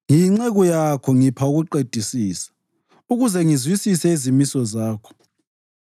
Ngiyinceku yakho; ngipha ukuqedisisa ukuthi ngizwisise izimiso zakho.